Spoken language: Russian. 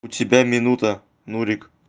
у тебя минута нурик